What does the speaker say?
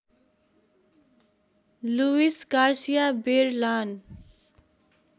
Louis Garcia बेरलान